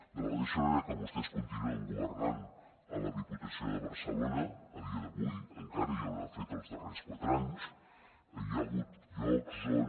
de la mateixa manera que vostès continuen governant a la diputació de barcelona a dia d’avui encara i ho han fet els darrers quatre anys hi ha hagut llocs on